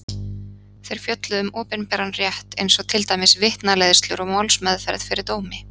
Þeir fjölluðu um opinberan rétt eins og til dæmis vitnaleiðslur og málsmeðferð fyrir dómi.